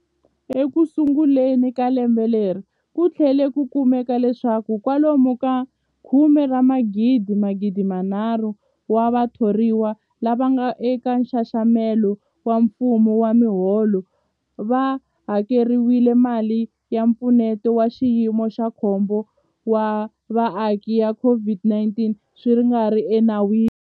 Ekusunguleni ka lembe leri, ku tlhele ku kumeka leswaku kwalomu ka 16,000 wa vatho riwa lava nga eka nxaxamelo wa mfumo wa miholo va hakeriwile mali ya Mpfuneto wa Xiyimo xa Khombo wa Vaaki ya COVID-19 swi nga ri enawini.